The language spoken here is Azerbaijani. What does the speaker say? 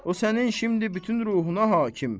O sənin şimdi bütün ruhuna hakim.